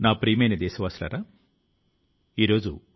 ప్రియమైన నా దేశవాసులారా నమస్కారం